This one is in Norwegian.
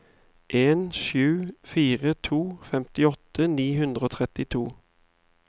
to sju fire to femtiåtte ni hundre og trettito